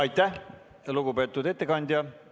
Aitäh, lugupeetud ettekandja!